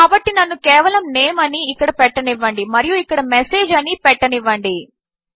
కాబట్టి నన్ను కేవలము Name అని ఇక్కడ పెట్టనివాంది మరియు ఇక్కడ Message అని పెట్టనివ్వండి